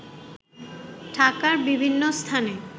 ঢাকার বিভিন্ন স্থানে